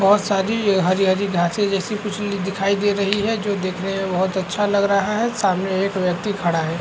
बहुत सारी हरी - हरी ढांचे जैसी कुचली दिखाई दे रही है जो देखने मे बहुत अच्छा लग रहा है सामने एक व्यक्ति खड़ा है।